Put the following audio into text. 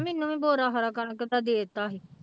ਮੈਨੂੰ ਵੀ ਬੋਰਾ ਸਾਰਾ ਕਣਕ ਦਾ ਦੇ ਦਿੱਤਾ ਸੀ।